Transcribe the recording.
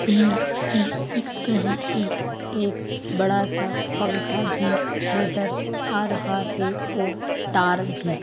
पेड़ भी दिख रही है एक बड़ा सा पंखा भी नज़र आ रहा है और तार भी --